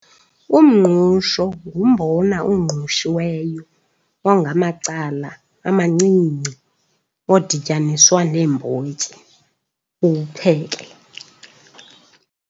Umngqusho ngumbona ongqushiweyo wangamacala amancinci odityaniswa neembotyi uwupheke.